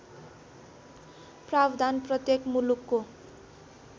प्रावधान प्रत्येक मुलुकको